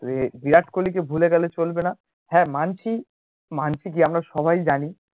সে বিরাট কোহলি কে ভুলে গেলে চলবে না হ্যাঁ মানছি মানছি যে আমরা সবাই জানি